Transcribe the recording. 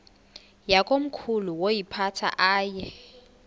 yakomkhulu woyiphatha aye